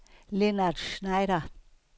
Lennart Schneider